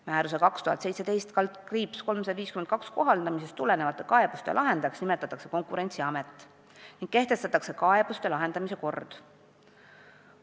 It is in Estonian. Määruse 2017/352 kohaldamisest tulenevate kaebuste lahendajaks nimetatakse Konkurentsiamet ning kehtestatakse kaebuste lahendamise kord.